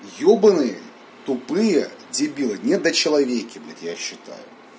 ебанный тупые дебилы недочеловеки блять я считаю